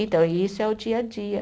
Então, isso é o dia a dia.